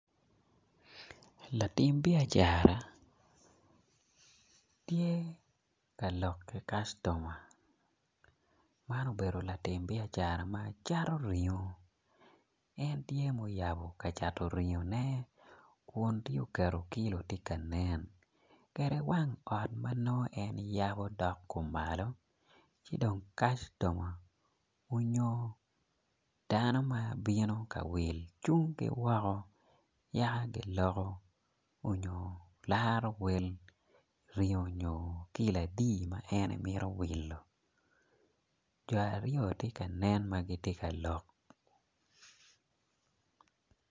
Latim biacara tye ka lok ki kastoma man obedo latim biacara ma cato ringo en tye ma oyabo kacato ringone kun tye oketo kilo tye ka nen kede wang ot ma en yabo dok kumalo ci dong kastoma onyo dano ma bino ka will cung ki woko yaka giloko nyo gilarowel ringo onyo kilo adi ma en mito wilo jo aryo tye ka nen ma gitye ka lok.